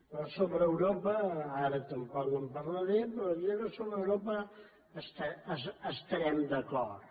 però sobre europa ara tampoc no en parlaré però li diré que sobre europa estarem d’acord